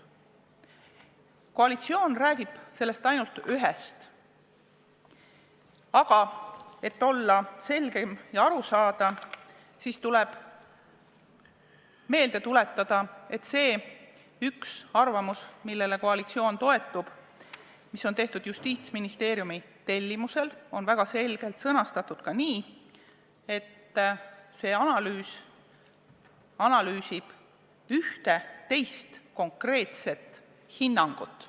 Koalitsioon räägib ainult ühest, aga et olla selgem ja aru saada, siis tuleb meelde tuletada, et see üks arvamus, millele koalitsioon toetub ja mis on tehtud Justiitsministeeriumi tellimusel, on väga selgelt sõnastatud nii, et see analüüs analüüsib ühte teist konkreetset hinnangut.